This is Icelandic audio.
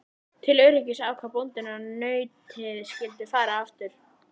Til öryggis ákvað bóndinn að nautið skyldi fara aftur.